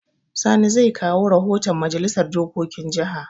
Sani zai kawo rahoton Majalisar dokokin jaha.